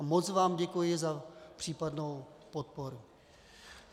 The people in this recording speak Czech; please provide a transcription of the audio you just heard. A moc vám děkuji za případnou podporu.